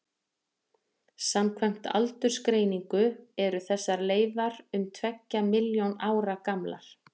samkvæmt aldursgreiningu eru þessar leifar um tveggja milljón ára gamlar